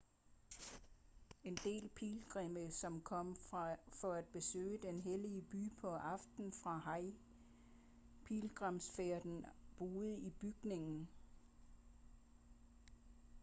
en del pilgrimme som kom for at besøge den hellige by på aftenen for hajj-pilgrimsfærden boede i bygningen